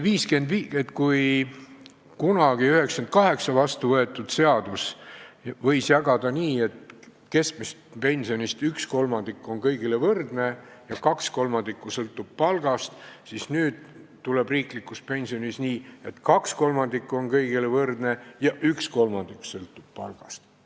Kui 1998. aastal vastuvõetud seaduse kohaselt võis jagada nii, et keskmisest pensionist üks kolmandik on kõigil võrdne ja kaks kolmandikku sõltub palgast, siis nüüd hakkab riikliku pensioni puhul olema nii, et kaks kolmandikku on kõigil võrdne ja üks kolmandik sõltub palgast.